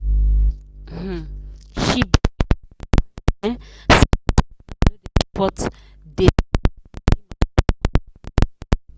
um she begin vex um say her partner no dey support dey support money matter for house.